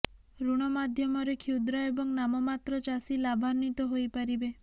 ଋଣ ମାଧ୍ୟମରେ କ୍ଷୁଦ୍ର ଏବଂ ନାମମାତ୍ର ଚାଷୀ ଲାଭାନ୍ବିତ ହୋଇପାରିବେ